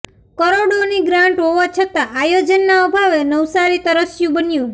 કરોડોની ગ્રાંટ હોવા છતા આયોજનના અભાવે નવસારી તરસ્યુ બન્યું